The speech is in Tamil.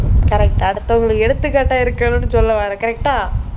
correct அடுத்தவங்களுக்கு எடுத்துக்காட்டா இருக்கணும்னு சொல்லவர்ற correct ஆ